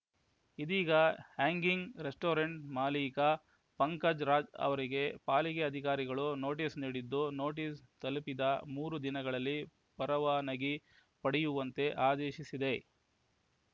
ಇದೀಗ hanging restaurant ಮಾಲಿಕ ಪಂಕಜ್‌ ರಾಜ್‌ ಅವರಿಗೆ ಪಾಲಿಕೆ ಅಧಿಕಾರಿಗಳು ನೋಟಿಸ್‌ ನೀಡಿದ್ದು ನೋಟಿಸ್‌ ತಲುಪಿದ ಮೂರು ದಿನಗಳಲ್ಲಿ ಪರವಾನಗಿ ಪಡೆಯುವಂತೆ ಆದೇಶಿಸಿದೆ